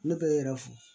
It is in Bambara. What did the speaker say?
Ne bɛ n yɛrɛ fo